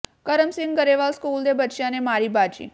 ਕਰਮ Singh Grewal school ਦੇ ਬੱਚਿਆਂ ਨੇ ਮਾਰੀ ਬਾਜ਼ੀ